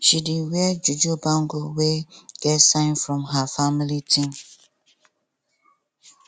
she dey wear juju bangle wey get sign from her family thing